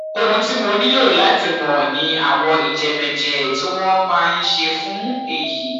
ohun tí mo nílò láti mọ ni àwọn ìjẹmẹmẹẹjẹ tí wọn máa ń ṣe fún èyí